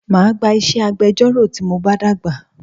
Máa gba iṣẹ́ agbẹjọ́rò tí mo bá dàgbà